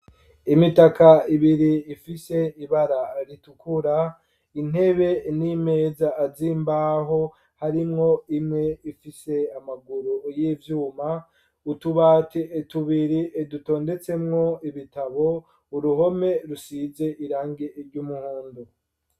Imitaka ibiri ifise ibara ritukura, intebe n'imeza z'imbaho harimwo imwe ifise amaguru y'ivyuma, utubati tubiri dutondetsemwo ibitabo, uruhome rusize irangi ry'umuhondo.